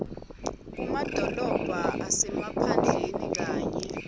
kumadolobha asemaphandleni kanye